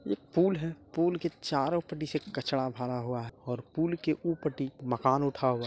एक पुल आगे पुल के चारों कचरा भरा हुआ है और पुल के ऊ उठा हुआ--